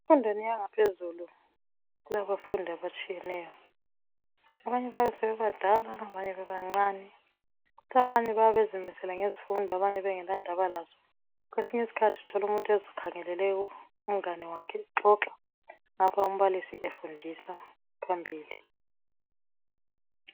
Emfundweni yangaphezulu kulabafundi abatshiyeneyo. Abanye bayabe sebebadala abanye bebancane kukhona abayabe bezimisele ngezifundo labangelandaba lazo. Uyathola umfundi ezikhangelele umngane wakhe exoxa umbalisi efundisa phambili.